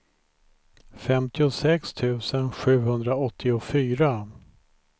femtiosex tusen sjuhundraåttiofyra